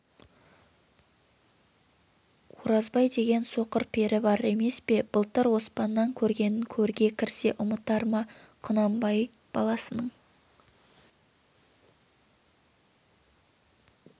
оразбай деген соқыр пері бар емес пе былтыр оспаннан көргенін көрге кірсе ұмытар ма құнанбай баласының